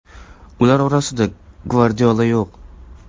Ular orasida Gvardiola yo‘q.